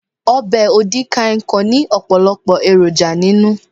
Obè odi kan ikong ní òpòlòpò èròjà ninu